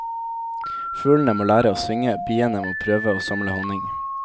Fuglene må lære å synge, biene må prøve å samle honning.